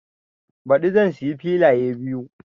Baɗi zan siya filaye biyu